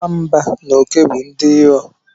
Nwamba na oke bụ ndị iro